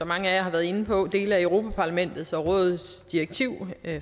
mange af jer har været inde på dele af europa parlamentets og rådets direktiv